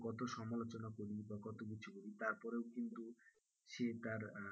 কত সমালোচনা করি বা কত কিছু করি, তারপরেও কিন্তু সে তার আহ